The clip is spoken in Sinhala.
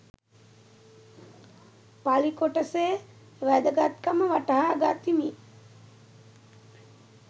පලි කොටසේ වැදගත්කම වටහා ගතිමි